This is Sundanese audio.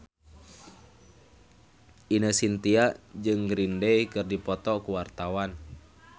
Ine Shintya jeung Green Day keur dipoto ku wartawan